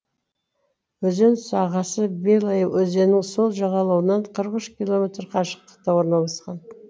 өзен сағасы белая өзенінің сол жағалауынан қырық үш километр қашықтықта орналасқан